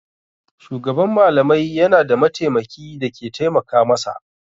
Shugaban malamai yana da mataimaki da ke taimaka masa.